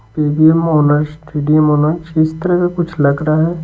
P V M owners T D M owners इस तरह का कुछ लग रहा है।